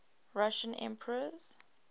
russian emperors